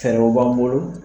Fɛɛrɛ b'an bolo